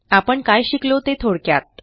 आपण काय शिकलो ते थोडक्यात